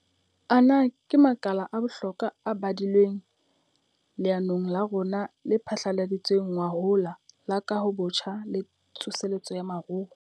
Ana ke makala a bohlokwa a badilweng leanong la rona le phatlaladitsweng ngwahola la Kahobotjha le Tsoseletso ya Moruo.